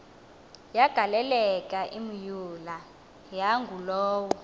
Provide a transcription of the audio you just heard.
yagaleleka imyula yangulowo